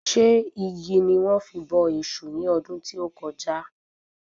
Ṣé igi ni wọ́n fi bọ èṣù ní ọdún tí o kọjá?